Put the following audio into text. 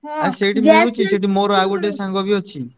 ମୋର ଆଉ ଗୋଟେ ସାଙ୍ଗ ବି ଅଛି।